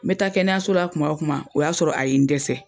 N bɛ taa kɛnɛyasola kuma o kuma o y'a sɔrɔ a ye n dɛsɛ.